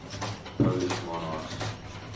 polish monarchs